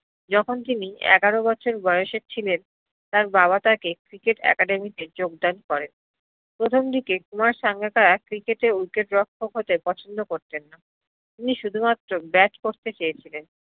যখন তিনি এগারো বছর বয়্সের ছিলেন তার বাবা তাকে cricket academy তে যোগদান করেন প্রথম দিকে কুমার সাঙ্গাকারা cricket এ হতে পছন্দ করতেন না, তিনি শুধুমাত্র bat করতে ছেয়েছিলেন